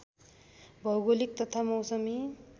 भौगोलिक तथा मौसमी